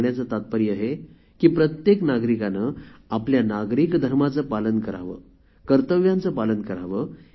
सांगण्याचे तात्पर्य हे की प्रत्येक नागरिकाने आपल्या नागरिक धर्माचे पालन करावे कर्तव्याचे पालन करावे